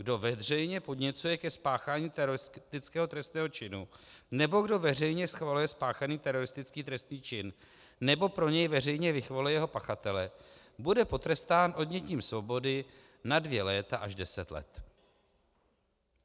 "Kdo veřejně podněcuje ke spáchání teroristického trestného činu nebo kdo veřejně schvaluje spáchaný teroristický trestný čin nebo pro něj veřejně vychvaluje jeho pachatele, bude potrestán odnětím svobody na dvě léta až deset let."